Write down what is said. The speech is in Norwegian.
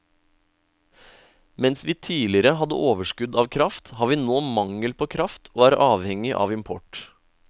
Mens vi tidligere hadde overskudd av kraft, har vi nå mangel på kraft og er avhengig av import.